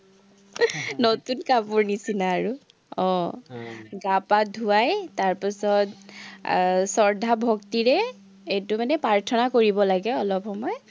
নতুন কাপোৰ নিচিনা আৰু। আহ গা-পা ধুৱাই তাৰপাচত এৰ শৰ্দ্ধা ভক্তিৰে এইটো মানে প্ৰাৰ্থনা কৰিব লাগে অলপ সময়